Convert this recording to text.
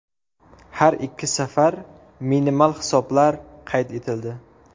Har ikki safar minimal hisoblar qayd etildi.